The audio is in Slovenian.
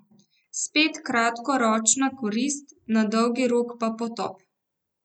Spet kratkoročna korist, na dolgi rok pa potop.